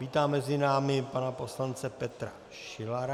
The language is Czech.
Vítám mezi námi pana poslance Petra Šilara.